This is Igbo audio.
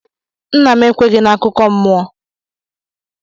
Nna m ekwenyeghị n'akụkọ mmụọ.